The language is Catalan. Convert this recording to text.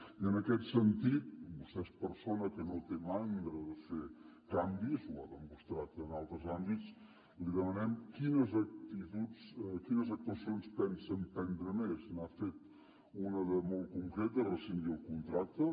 i en aquest sentit vostè és persona que no té mandra de fer canvis ho ha demostrat en altres àmbits li demanem quines actuacions pensa emprendre més n’ha fet una de molt concreta rescindir el contracte